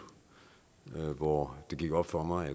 hvor det gik op for mig